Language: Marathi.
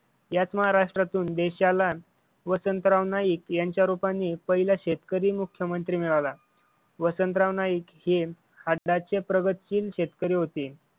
याच महाराष्ट्रातून देशाला वसंतराव नाईक यांच्या रूपाने पहिला शेतकरी मुख्यमंत्री मिळाला. वसंतराव नाईक हे आत्ताचे प्रगतशील शेतकरी होते.